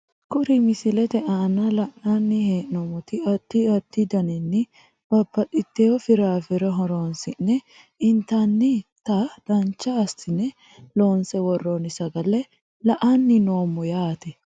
Kuri misilete aana la`nani hee`nomoti adi adi danini babaxitewo firafire horonsine intanita dancha asine loonse woroni sagale la`ani noomo yaate.